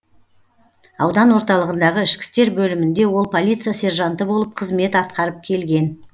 аудан орталығындағы ішкі істер бөлімінде ол полиция сержанты болып қызмет атқарып келген